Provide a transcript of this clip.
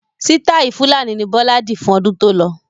Sitai fulani ni Bọlá di fún ọdún tó lọ.